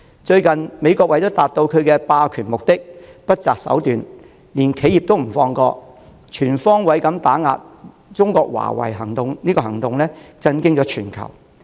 最近，美國為達到其霸權目的而不擇手段，連企業也不放過，不惜全方位打壓中國的華為，震驚全球。